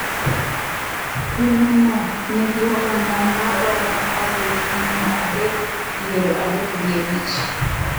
Piny no nigi oganda ma romo alif mia adek piero adek gi abich